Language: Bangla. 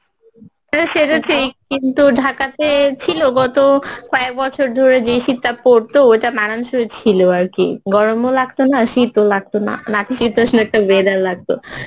হ্যাঁ সেটা ঠিক কিন্তু, ঢাকাতে ছিলো গত একবছর ধরে যে শীতটা পড়ত মানানসই ছিলো আরকি গরমও লাগত না শীতও লাগত না নাতিশীতোষ্ণ একটা weather লাগতো